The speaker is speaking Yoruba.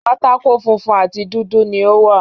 Pátákó funfun àti dúdú ni o wa.